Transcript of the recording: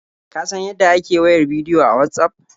Ka san yadda ake wayar bidiyo a Watsaf?